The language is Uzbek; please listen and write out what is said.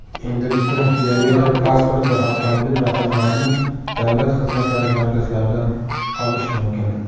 Endilikda biometrik pasport va avtomobil raqamlarini Davlat xizmatlari markazlaridan olish mumkin.